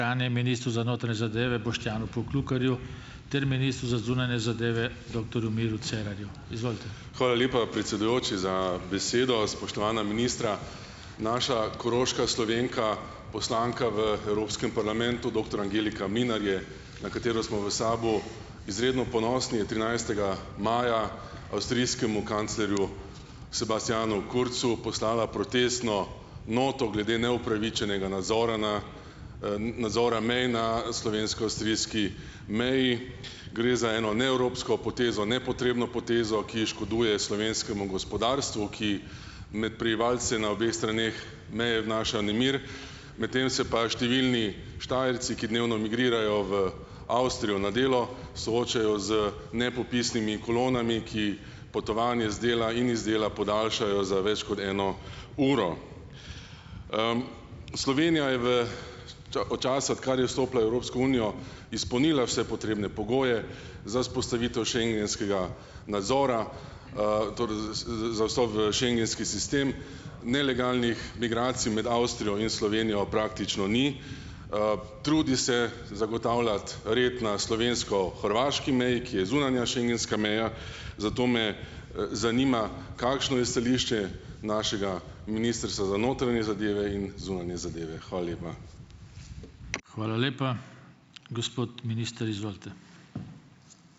ministru za notranje zadeve Boštjanu Poklukarju ter ministru za zunanje zadeve doktorju Miru Cerarju, izvolite. Hvala lepa, predsedujoči, za besedo. Spoštovana ministra! Naša koroška Slovenka, poslanka v Evropskem parlamentu, doktor Angelika Mlinar je, na katero smo v SAB-u izredno ponosni, je trinajstega maja avstrijskemu kanclerju Sebastianu Kurzu poslala protestno noto glede neupravičenega nadzora nadzora mej na slovensko-avstrijski meji. Gre za eno neevropsko potezo, nepotrebno potezo, ki škoduje slovenskemu gospodarstvu, ki med prebivalce na obeh straneh meje vnaša nemir, medtem se pa številni Štajerci, ki dnevno migrirajo v Avstrijo na delo, soočajo z nepopisnimi kolonami, ki potovanje z dela in iz dela podaljšajo za več kot eno uro. Slovenija je v od časa, odkar je vstopila v Evropsko unijo, izpolnila vse potrebne pogoje za vzpostavitev schengenskega nadzora, z z za vstop v schengenski sistem. Nelegalnih migracij med Avstrijo in Slovenijo praktično ni. Trudi se zagotavljati red na slovensko-hrvaški meji, ki je zunanja schengenska meja, zato me, zanima, kakšno je stališče našega ministrstva za notranje zadeve in zunanje zadeve? Hvala lepa. Hvala lepa. Gospod minister, izvolite.